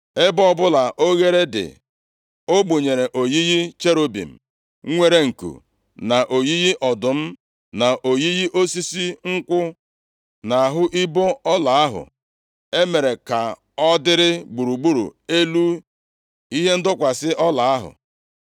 Ebe ọbụla ohere dị, o gbunyere oyiyi cherubim nwere nku, na oyiyi ọdụm, na oyiyi osisi nkwụ, nʼahụ ibo ọla ahụ e mere ka ọ dịrị gburugburu elu ihe ndọkwasị ọla ahụ.